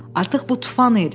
Artıq bu tufan idi.